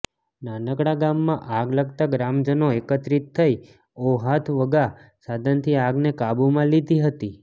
નાનકડા ગામમાં આગ લાગતા ગ્રામજનો એકત્રિત થઇ ઔહાથ વગા સાધનથી આગને કાબુમાં લીધી હતી